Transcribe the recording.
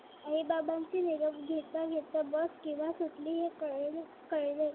आई बाबांशी निरोप घेता घेता बस केव्हा सुटली हे कळले